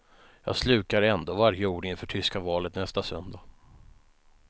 Jag slukar ändå varje ord inför tyska valet nästa söndag.